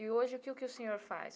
E hoje, o que que o senhor faz?